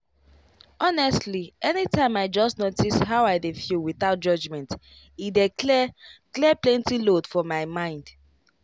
honestly anytime i just notice how i dey feel without judgment e dey clear clear plenty load for my mind.